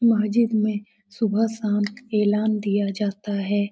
महजिद में सुबह शाम ऐलान दिया जाता है।